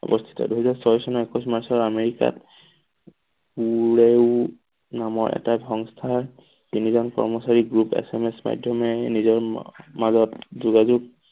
অৱস্থিত দুহেজাৰ ছয় চনৰ একৈছ মাৰ্চৰ আমেৰিকাত নামৰ এটা সংস্থাৰ তিনিজন কৰ্মচাৰীক group এচ. এম. এচ. মাধ্যমেৰে নিজৰ মাজত যোগাযোগ